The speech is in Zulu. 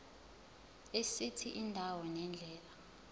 esithi indawo nendlela